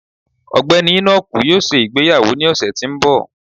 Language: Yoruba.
Ọgbẹni Enoku yóò ṣe ìgbéyàwó ni ọsẹ ti n bọ